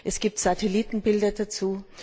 es gibt Satellitenbilder dazu.